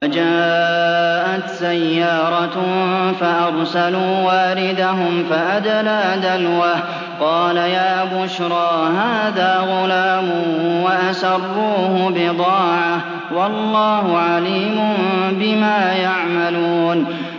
وَجَاءَتْ سَيَّارَةٌ فَأَرْسَلُوا وَارِدَهُمْ فَأَدْلَىٰ دَلْوَهُ ۖ قَالَ يَا بُشْرَىٰ هَٰذَا غُلَامٌ ۚ وَأَسَرُّوهُ بِضَاعَةً ۚ وَاللَّهُ عَلِيمٌ بِمَا يَعْمَلُونَ